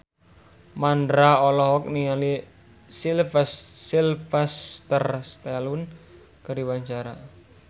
Mandra olohok ningali Sylvester Stallone keur diwawancara